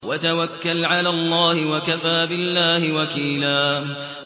وَتَوَكَّلْ عَلَى اللَّهِ ۚ وَكَفَىٰ بِاللَّهِ وَكِيلًا